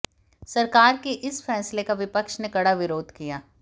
सरकार के इस फैसले का विपक्ष ने कड़ा विरोध किया